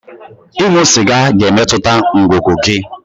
Ịṅụ sịga ga-emetụta ngụgụ gị.